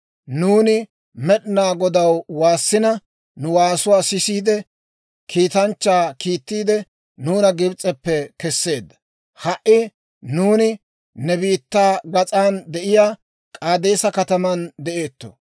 Nuuni Med'inaa Godaw waassina, nu waasuwaa sisiide, kiitanchchaa kiittiide, nuuna Gibs'eppe kesseedda. Ha"i nuuni ne biittaa gas'an de'iyaa K'aadeesa kataman de'eetto.